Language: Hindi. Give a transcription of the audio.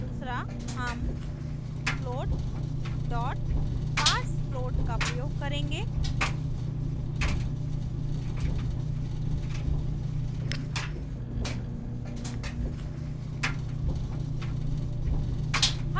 दूसरा हम float parsefloat का प्रयोग करेंगे